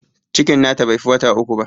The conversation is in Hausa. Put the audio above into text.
Cikin na ta bai fi wata uku ba